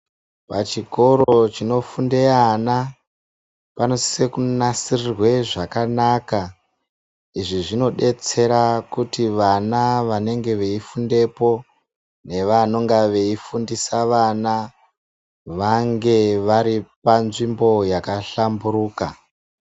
Pachikoro chinofunde ana panosise kunasirirwe zvakanaka. Izvi zvinobetsera kuti vana vanenge veifundepo nevanonga veifundisa vana, vangu vari panzvimbo yakahlamburuka.